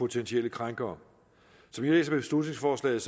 potentielle krænkere som jeg læser beslutningsforslaget